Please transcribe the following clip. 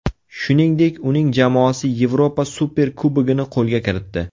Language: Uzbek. Shuningdek, uning jamoasi Yevropa Superkubogini qo‘lga kiritdi.